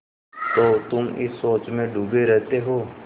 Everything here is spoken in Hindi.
तो तुम इस सोच में डूबे रहते हो